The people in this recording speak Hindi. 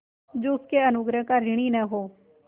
जो उसके अनुग्रहों का ऋणी न हो